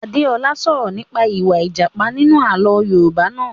Adé ọlá sọ̀rọ̀ nípa ìwà a Ìjàpá nínú àlọ́ Yorùbá naa